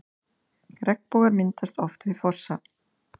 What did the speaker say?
Regnbogar myndast oft við fossa.